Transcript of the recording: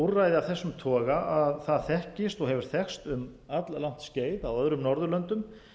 úrræði af þessum toga þekkist og hefur þekkst um all langt skeið á öðrum norðurlöndum